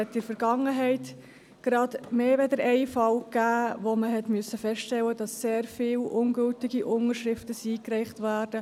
In der Vergangenheit gab es mehr als einen Fall, wo man feststellen musste, dass sehr viele ungültige Unterschriften eingereicht wurden.